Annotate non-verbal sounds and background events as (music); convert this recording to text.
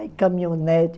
(unintelligible) caminhonete.